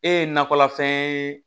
E ye nakɔlafɛn ye